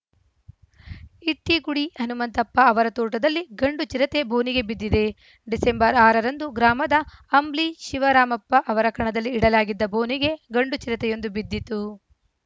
ಇಟ್ಟಿಗುಡಿ ಹನುಮಂತಪ್ಪ ಅವರ ತೋಟದಲ್ಲಿ ಗಂಡು ಚಿರತೆ ಬೋನಿಗೆ ಬಿದ್ದಿದೆ ಡಿಸೆಂಬರ್ ಆರ ರಂದು ಗ್ರಾಮದ ಅಂಬ್ಲಿ ಶಿವರಾಮಪ್ಪ ಅವರ ಕಣದಲ್ಲಿ ಇಡಲಾಗಿದ್ದ ಬೋನಿಗೆ ಗಂಡು ಚಿರತೆಯೊಂದು ಬಿದ್ದಿತ್ತು